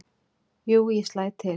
"""Jú, ég slæ til"""